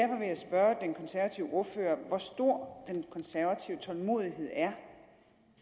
jeg spørge den konservative ordfører hvor stor den konservative tålmodighed er